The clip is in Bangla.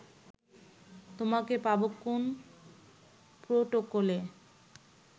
তোমাকে পাব কোন প্রটোকলে